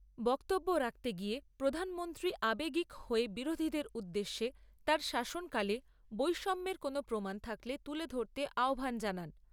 বক্তব্য রাখতে গিয়ে প্রধানমন্ত্রী আবেগী হয়ে বিরোধীদের উদ্দেশ্যে তাঁর শাসনকালে বৈষম্যের কোনও প্রমান থাকলে তুলে ধরতে আহ্বান জানান।